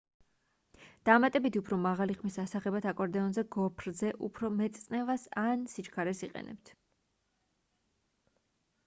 დამატებითი უფრო მაღალი ხმის ასაღებად აკორდეონზე გოფრზე უფრო მეტ წნევას ან სიჩქარეს იყენებთ